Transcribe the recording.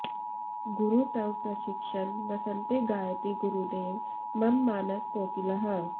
गुरु तव प्रशिक्षण वसन्ते गायति गुरुदेव मम मानस कोकिलः